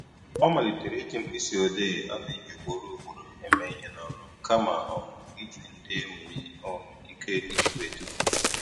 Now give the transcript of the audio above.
Ọ malitere iji mkpịsị odee a na-eji ugboro ugboro eme ihe n'ọrụ kama um iji ndị e nwere um ike ịtufu etufu